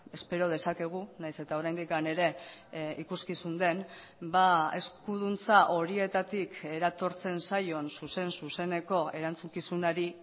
espero dezakegu nahiz eta oraindik ere ikuskizun den eskuduntza horietatik eratortzen zaion zuzen zuzeneko erantzukizunari